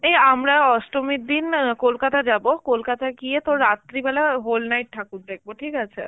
এই আমরা অষ্টমীর দিন কলকাতা যাবো, কলকাতা গিয়ে তোর রাত্রিবেলা whole night ঠাকুর দেখব, ঠিক আছে?